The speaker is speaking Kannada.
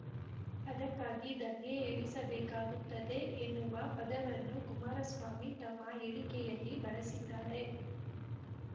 ಅದಕ್ಕಾಗಿ ದಂಗೆ ಏಳಿಸಬೇಕಾಗುತ್ತದೆ ಎನ್ನುವ ಪದವನ್ನು ಕುಮಾರಸ್ವಾಮಿ ತಮ್ಮ ಹೇಳಿಕೆಯಲ್ಲಿ ಬಳಸಿದ್ದಾರೆ